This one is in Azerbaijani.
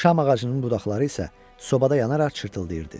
Şam ağacının budaqları isə sobada yanaraq çırtdıldayırdı.